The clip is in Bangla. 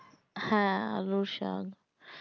হ্যাঁ আলুর শাক